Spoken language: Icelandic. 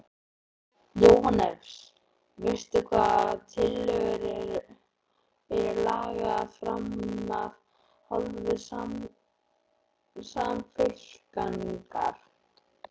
Jóhannes: Veistu hvaða tillögur eru lagðar fram af hálfu Samfylkingar?